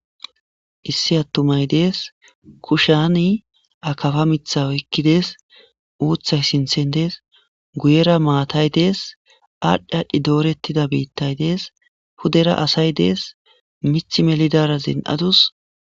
Issi atummay des kushiyani akafa mita oyikides uthay sintan des guyera maatay des adhi adhi doretida bitay des pudera asay des miti melizara zin'a dus.